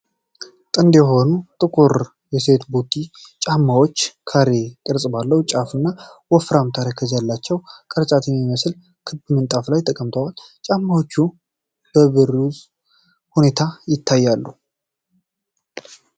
ጥንድ የሆኑ ጥቁር የሴቶች ቦቲ ጫማዎች፣ ካሬ ቅርጽ ባለው ጫፍ እና ወፍራም ተረከዝ ያላቸው፣ ቅርጫት በሚመስል ክብ ምንጣፍ ላይ ተቀምጠዋል። ጫማዎቹ በብሩህ ሁኔታ ይታያሉ።